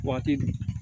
Waati